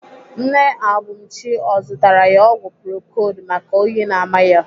Nne Abumchi ọ zụtara ya ọgwụ procold maka oyi na-ama ya?